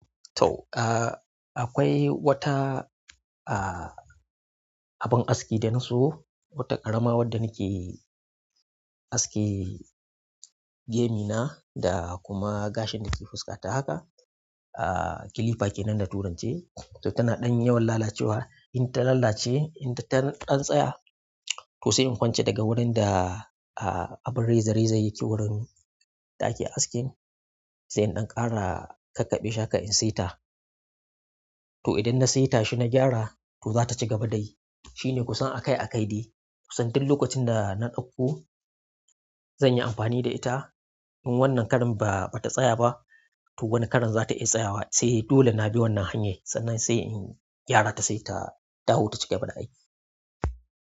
To, akwai wata abin aski da na siyo, wata ƙarama wadda nake aske gemi na da kuma gashin da ke fuska ta haka. Clipa ke nan da turanci, to tana ɗan yawan lalacewa. In ta lalace, in ta ɗan tsaya, to sai in kwanceta ga wurin da abin reza-rezan yake wurin da ake askin, sai in ɗan ƙara kakkaɓe shi haƙa in saita. To idan na saita shi na gyara to zata ci gaba dayi. Shi ne, kusan akai akai dai. Kusan din lokacin da na ɗauko zan yi amfani da ita, in wannan karin ba ta tsaya ba, to wani karin za ta iya tsayawa, sai dole na bi wannan hanyar sannan sai in gyara ta sai ta dawo ta ci gaba da aiki.